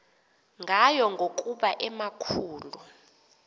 ngayo ngokuba emakhulu